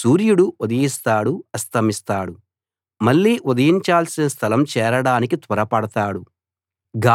సూర్యుడు ఉదయిస్తాడు అస్తమిస్తాడు మళ్ళీ ఉదయించాల్సిన స్థలం చేరడానికి త్వరపడతాడు